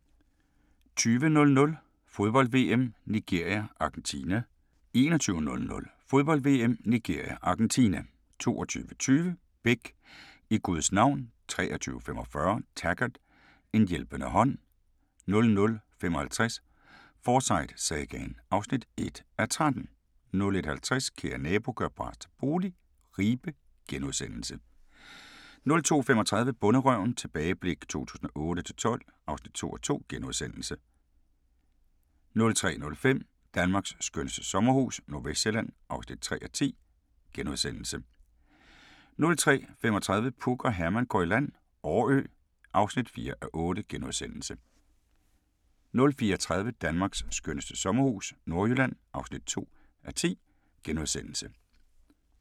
20:00: Fodbold: VM - Nigeria-Argentina 21:00: Fodbold: VM - Nigeria-Argentina 22:20: Beck: I Guds navn 23:45: Taggart: En hjælpende hånd 00:55: Forsyte-sagaen (1:13) 01:50: Kære nabo – gør bras til bolig – Ribe * 02:35: Bonderøven – tilbageblik 2008-2012 (2:2)* 03:05: Danmarks skønneste sommerhus - Nordvestsjælland (3:10)* 03:35: Puk og Herman går i land - Årø (4:8)* 04:30: Danmarks skønneste sommerhus – Nordjylland (2:10)*